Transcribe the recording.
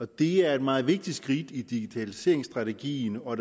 det er et meget vigtigt skridt i digitaliseringsstrategien og